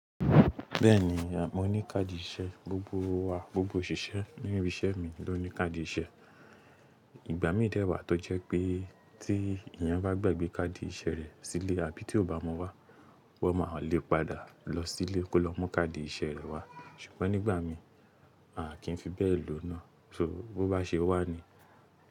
Bẹ́ẹ̀ni, mo ní káàdì iṣẹ́. Gbogbo wa, gbogbo òṣìṣẹ́ níbi iṣẹ́ mi ló ní káàdì iṣẹ́. Ìgbà mí dẹ́ wà, tó jẹ́ pé tí èèyàn bá gbàgbé káàdì iṣẹ́ rẹ̀ sílé àbí tí ó bá mu wá, wọ́n máa lè padà lọ sílé kó lọ mú káàdì iṣẹ́ rẹ̀ wá. Ṣùgbọ́n nígbà mi, a kì í fi bẹ́ẹ̀ lòó náà. Toor, bó bá ṣe wà ni.